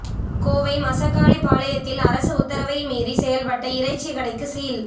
கோவை மசக்காளி பாளையத்தில் அரசு உத்தரவை மீறி செயல்பட்ட இறைச்சி கடைக்கு சீல்